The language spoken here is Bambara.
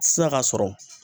Sisan ka sɔrɔ